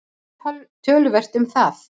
Það munar töluvert um það.